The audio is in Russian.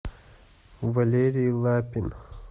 валерий лапин